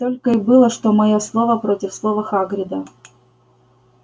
ведь только и было что моё слово против слова хагрида